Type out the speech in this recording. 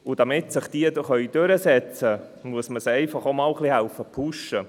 Damit diese sich durchsetzen können, muss man auch einmal helfen, diese zu pushen.